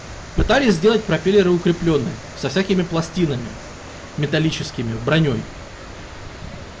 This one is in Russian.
пытались сделать пропеллеры и укреплённые со всякими пластинами металлическими бронёй